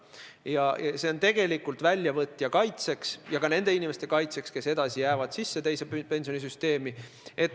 See lahendus on tegelikult mõeldud väljavõtja kaitseks ja ka nende inimeste kaitseks, kes jäävad edasi teise pensionisambasse.